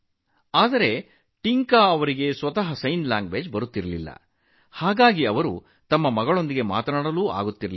ಆದರೆ ಅವರಿಗೂ ಸಂಜ್ಞೆ ಭಾಷೆ ತಿಳಿದಿರಲಿಲ್ಲ ಆದ್ದರಿಂದ ಅವರು ತನ್ನ ಮಗಳೊಂದಿಗೆ ಸಂವಹನ ನಡೆಸಲು ಸಾಧ್ಯವಾಗಲಿಲ್ಲ